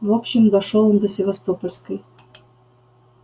в общем дошёл он до севастопольской